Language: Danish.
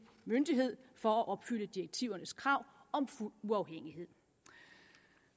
myndighed for at opfylde direktivernes krav om fuld uafhængighed